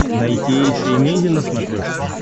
найти эйша эмейзин на смотрешке